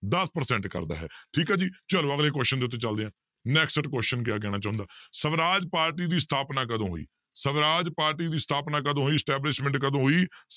ਦਸ percent ਕਰਦਾ ਹੈ ਠੀਕ ਹੈ ਜੀ ਚਲੋ ਅਗਲੇ question ਦੇ ਉੱਤੇ ਚੱਲਦੇ ਹਾਂ next question ਕਿਆ ਕਹਿਣਾ ਚਾਹੁੰਦਾ ਸਵਰਾਜ ਪਾਰਟੀ ਦੀ ਸਥਾਪਨਾ ਕਦੋਂ ਹੋਈ, ਸਵਰਾਜ ਪਾਰਟੀ ਦੀ ਸਥਾਪਨਾ ਕਦੋਂ ਹੋਈ establishment ਕਦੋਂ ਹੋਈ